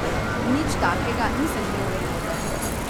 Nič takega, nisem imel viroze.